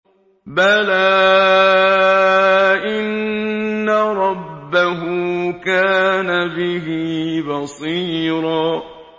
بَلَىٰ إِنَّ رَبَّهُ كَانَ بِهِ بَصِيرًا